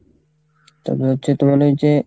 তো বলছে তোমার ওই যে,